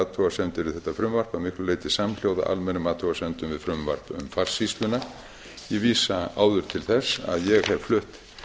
athugasemdir við þetta frumvarp að miklu leyti samhljóða almennum athugasemdum við frumvarp um farsýsluna ég vísa áður til þess að ég hef flutt